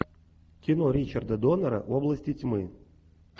кино ричарда доннера области тьмы